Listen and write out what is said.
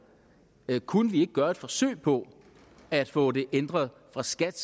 kunne vi ikke gøre et forsøg på at få det ændret af skat